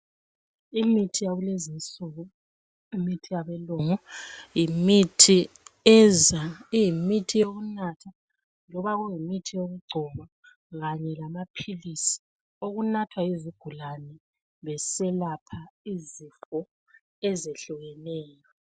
Imithi yakulezi nsuku yimithi imithi yabelungu yimithi eza iyimithi yokunatha loba kuyimithi yokugcoba kanye lamaphilisi okunathwa yizigulane beselapha izifo ezehlukeneyo.